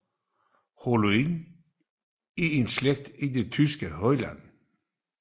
Hohenlohe er en slægt i den tyske højadel